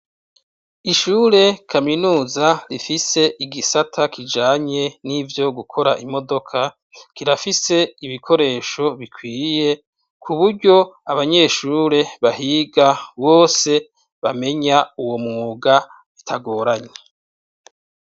Ishure kaminuza rifise igisata kijanye nivyo gukora imodoka kirafise ibikoresho bikwiye kuburyo abanyeshure bahiga bose bamenya uwo mwuga bitagoranye.